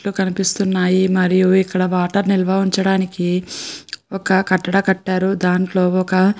కనిపిస్తున్నాయి మరియు ఇక్కడ వాటర్ నిల్వ ఉంచడానికి ఒక కట్టలా కట్టారు. దాంట్లో ఒక --